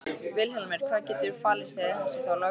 Vilhjálmur, hvað getur falist í þessu þá lögbroti?